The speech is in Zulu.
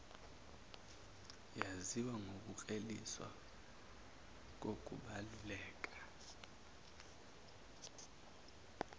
yaziwa ngokukleliswa kokubaluleka